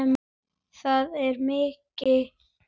Það er mikið.